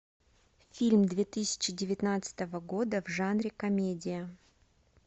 фильм две тысячи девятнадцатого года в жанре комедия